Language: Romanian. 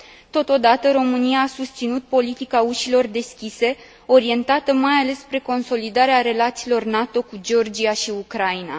Totodată, România a susținut politica ușilor deschise, orientată mai ales spre consolidarea relațiilor NATO cu Georgia și Ucraina.